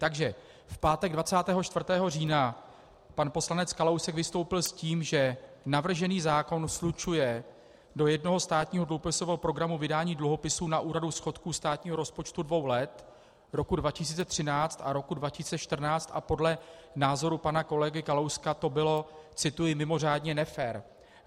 Takže v pátek 24. října pan poslanec Kalousek vystoupil s tím, že navržený zákon slučuje do jednoho státního dluhopisového programu vydání dluhopisů na úhradu schodku státního rozpočtu dvou let, roku 2013 a roku 2014, a podle názoru pana kolegy Kalouska to bylo - cituji - "mimořádně nefér".